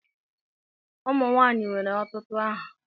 Ụmụ nwanyị nwere ọtụtụ aha.